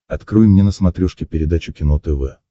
открой мне на смотрешке передачу кино тв